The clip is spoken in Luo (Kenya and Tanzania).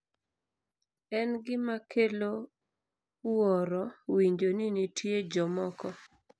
en gima kelo wuoro winjo ni nitie jomoko